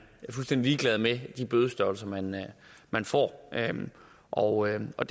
fuldstændig ligeglad med de bødestørrelser man man får og og